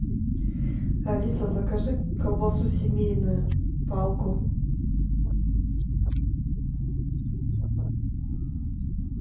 алиса закажи колбасу семейную палку